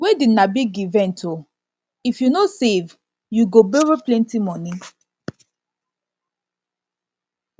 wedding na big event o if you no save you go borrow plenty moni